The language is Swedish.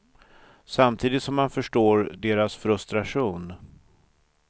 Samtidigt som han förstår deras frustration.